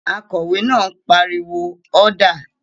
Akòwé náà pariwo "ọ́dà!"